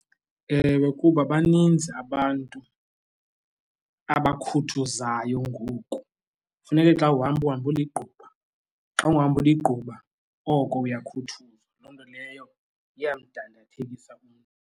Ewe, kuba baninzi abantu abakhuthuzayo ngoku, funeke xa uhamba uhambe eligquba. Xa ungahambi uligquma oko uyakhuthuzwa. Loo nto leyo iyamdandathekisa umntu.